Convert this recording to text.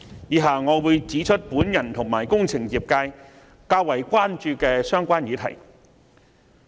以下我將會指出我和工程業界較為關注的議題。